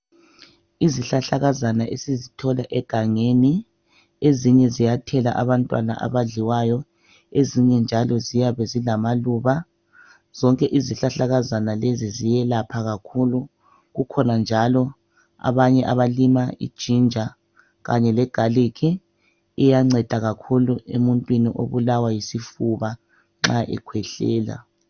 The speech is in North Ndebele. Izihlahlakazana esizithola egangeni ezinye ziyathela abantwana abadliwayo ezinye amaluba. Zonke izihlahlakazana lezi ziyelapha kakhulu. Kukhona abalima ijinja legalikhi iyanceda kakhulu emuntwini obulawa yisifuba nxa ekhwehlela.